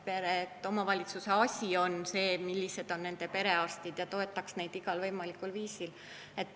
See on omavalitsuse asi, millised on perearstid, ja ta peaks neid toetama igal võimalikul viisil.